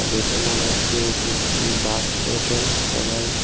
দেখে মনে হচ্ছে এটি একটি বাস স্টেশন সবাই--